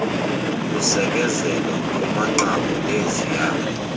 kusekezelwa kumanqaku neziya